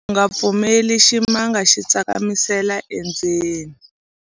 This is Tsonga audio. u nga pfumeleli ximanga xi tsakamisela endzeni